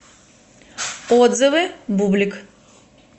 отзывы бублик